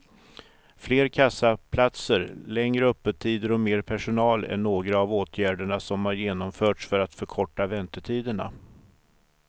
Fler kassaplatser, längre öppettider och mer personal är några av åtgärderna som har genomförts för att förkorta väntetiderna.